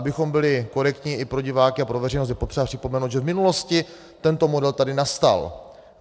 Abychom byli korektní i pro diváky a pro veřejnost, je potřeba připomenout, že v minulosti tento model tady nastal.